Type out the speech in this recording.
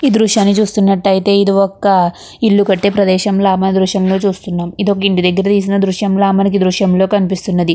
ఈ దృశ్యాన్ని చూస్తున్నట్టయితే కనుక ఇది ఒక ఇల్లు కట్టే ప్రదేశం లాగా మనము ఈ దృశ్యంలో చూస్తున్నాము. ఇది ఒక ఇంటి దగ్గర తీసిన దృశ్యం లాగా మనకి ఈ దృశ్యంలా కనిపిస్తుంది.